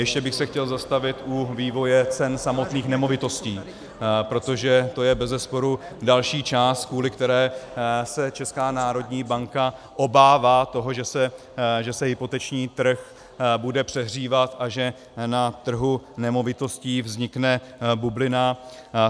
Ještě bych se chtěl zastavit u vývoje cen samotných nemovitostí, protože to je bezesporu další část, kvůli které se Česká národní banka obává toho, že se hypoteční trh bude přehřívat a že na trhu nemovitostí vznikne bublina.